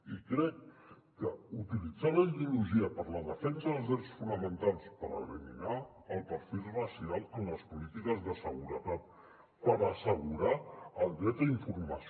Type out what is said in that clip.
i crec que utilitzar la ideologia per a la defensa dels drets fonamentals per eliminar el perfil racial en les polítiques de seguretat per assegurar el dret a informació